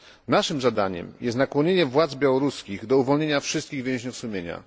Naszym zadaniem jest nakłonienie władz białoruskich do uwolnienia wszystkich więźniów sumienia.